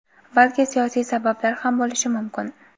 balki siyosiy sabablar ham bo‘lishi mumkin.